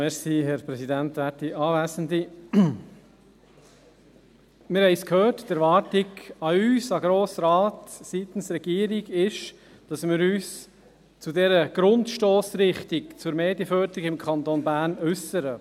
Die Erwartung seitens der Regierung an uns, den Grossen Rat, ist, dass wir uns zu dieser Grundstossrichtung zur Medienförderung im Kanton Bern äussern: